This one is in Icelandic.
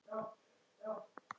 Ekki hjá mér.